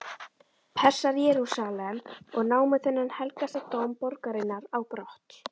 Persar Jerúsalem og námu þennan helgasta dóm borgarinnar á brott.